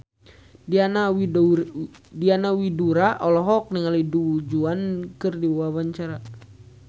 Diana Widoera olohok ningali Du Juan keur diwawancara